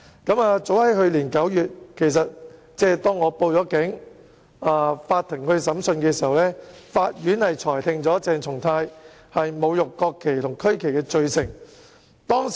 法庭於去年9月即我報警後進行審訊，裁定鄭松泰議員侮辱國旗及區旗罪成。